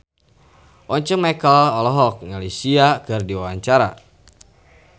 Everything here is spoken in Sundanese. Once Mekel olohok ningali Sia keur diwawancara